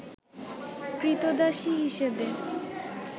ক্রীতদাসী হিসেবে